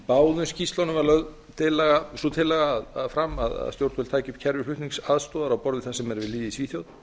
báðum skýrslum var sú tillaga lögð fram að stjórnvöld tækju upp kerfi flutningsaðstoðar á borð við það sem er við lýði í svíþjóð